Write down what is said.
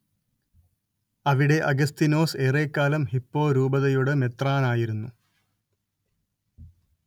അവിടെ അഗസ്തീനോസ് ഏറെക്കാലം ഹിപ്പോ രൂപതയുടെ മെത്രാനായിരിരുന്നു